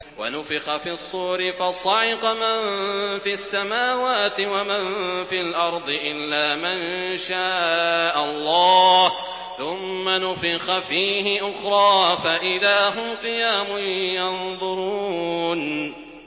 وَنُفِخَ فِي الصُّورِ فَصَعِقَ مَن فِي السَّمَاوَاتِ وَمَن فِي الْأَرْضِ إِلَّا مَن شَاءَ اللَّهُ ۖ ثُمَّ نُفِخَ فِيهِ أُخْرَىٰ فَإِذَا هُمْ قِيَامٌ يَنظُرُونَ